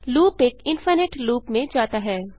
loop एक infinite loop में जाता है